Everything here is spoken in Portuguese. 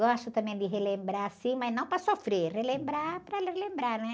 Gosto também de relembrar, sim, mas não para sofrer, relembrar para relembrar, né?